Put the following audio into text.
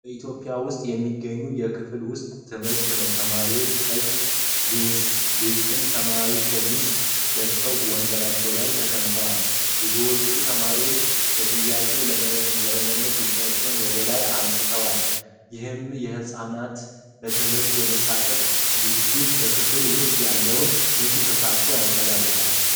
በኢትዮጵያ ውስጥ የሚገኝ የክፍል ውስጥ ትምህርት ነው። ተማሪዎቹ ቀይ ቬስትና ሰማያዊ ሸሚዝ ለብሰው ወንበራቸው ላይ ተቀምጠዋል። ብዙዎቹ ተማሪዎች ለጥያቄ ለመመለስ እጃቸውን ወደ ላይ አንስተዋል። ይህም የሕፃናትን በትምህርት የመሳተፍ ጉጉትና በክፍሉ ውስጥ ያለውን ንቁ ተሳትፎ ያንጸባርቃል።